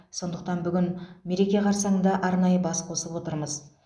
сондықтан бүгін мереке қарсаңында арнайы бас қосып отырмыз